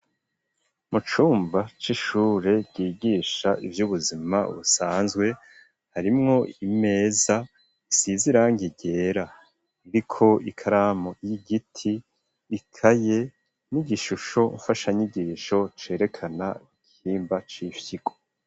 Mu cumba c'ishure ryigisha ivy'ubuzima busanzwe, harimwo imeza isize irangi ryera iriko ikaramu y'igiti, ikaye n'igishusho mfashanyigisho, cerekana igihimba c'ifyigo.